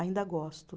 Ainda gosto.